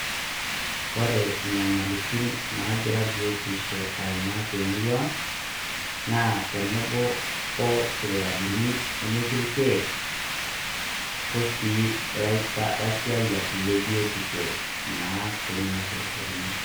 Kore nyamalitin nagira biotisho aimaa te murrua ang' naa tenebo o sipitalini nemetii ilkeek ,osii laita laisiayak le biutisho naa tenenia sipitalini.